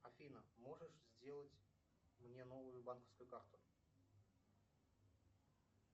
афина можешь сделать мне новую банковскую карту